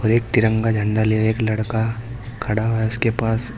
एक तिरंगा झंडा लेये एक लड़का खड़ा है उसके पास।